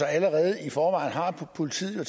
allerede i forvejen har politiet jo